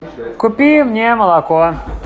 купи мне молоко